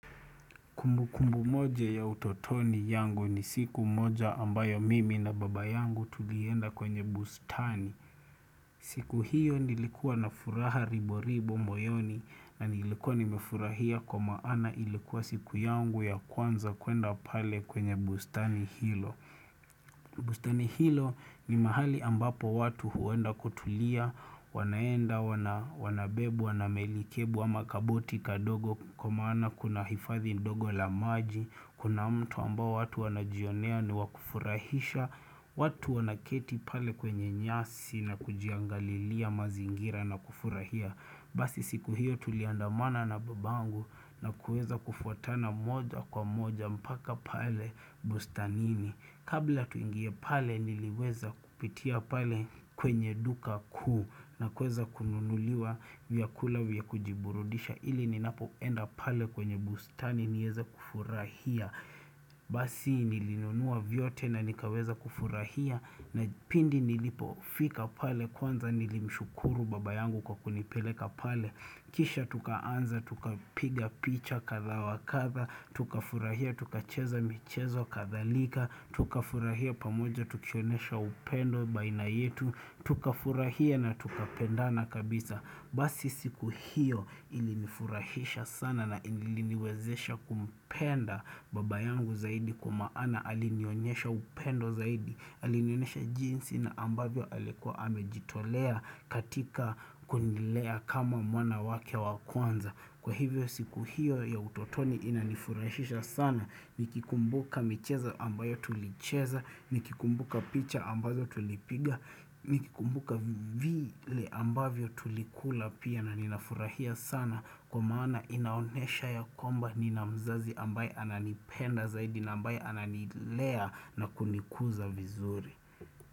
Kumbu kumbu moja ya utotoni yangu ni siku moja ambayo mimi na baba yangu tulienda kwenye bustani. Siku hiyo nilikuwa na furaha ribo ribo moyoni na nilikuwa nimefurahia kwa maana ilikuwa siku yangu ya kwanza kuenda pale kwenye bustani hilo. Bustani hilo ni mahali ambapo watu huenda kutulia wanaenda, wanabebwa, namelikebu, wama kabuti kadogo Kwa maana kuna hifathi ndogo la maji Kuna mto ambao watu wanajionea ni wakufurahisha watu wanaketi pale kwenye nyasi na kujiangalilia mazingira na kufurahia Basi siku hiyo tuliandamana na babangu na kueza kufuatana moja kwa moja mpaka pale bustanini Kabla tuingie pale niliweza kupitia pale kwenye duka kuu na kweza kununuliwa vyakula vyakujiburudisha ili ninapo enda pale kwenye bustani nieza kufurahia. Basi nilinunua vyote na nikaweza kufurahia na pindi nilipofika pale kwanza nilimshukuru baba yangu kwa kunipeleka pale. Kisha tukaanza, tuka piga picha katha wakatha, tukafurahia, tuka cheza michezo kathalika, tukafurahia pamoja, tukionesha upendo baina yetu, tukafurahia na tukapenda na kabisa. Basi siku hiyo ilinifurahisha sana na iliniwezesha kumpenda baba yangu zaidi kumaana alinionyesha upendo zaidi Alinionyesha jinsi na ambavyo alikuwa hamejitolea katika kunilea kama mwana wake wa kwanza Kwa hivyo siku hiyo ya utotoni inanifurahisha sana Nikikumbuka michezo ambayo tulicheza, nikikumbuka picha ambazo tulipiga Nikikumbuka vile ambavyo tulikula pia na ninafurahia sana Kwa maana inaonesha ya komba nina mzazi ambaye ananipenda zaidi Naambaye ananilea na kunikuza vizuri.